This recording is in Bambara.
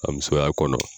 A musoya kɔnɔ